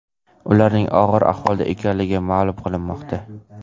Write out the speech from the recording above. Ularning og‘ir ahvolda ekanligi ma’lum qilinmoqda.